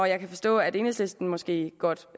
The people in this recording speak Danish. jeg kan forstå at enhedslisten måske godt